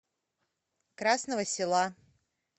красного села